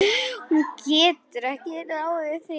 Hún getur ekki ráðið því.